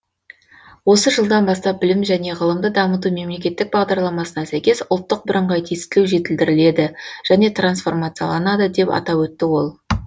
осы жылдан бастап білім және ғылымды дамыту мемлекеттік бағдарламасына сәйкес ұлттық бірыңғай тестілеу жетілдіріледі және трансформацияланады деп атап өтті ол